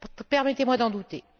Permettez moi d'en douter.